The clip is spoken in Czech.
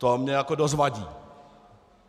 To mi jako dost vadí.